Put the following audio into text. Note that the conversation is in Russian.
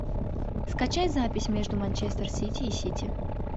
скачай запись между манчестер сити и сити